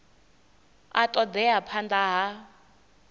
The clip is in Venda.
a ṱo ḓea phanḓa ha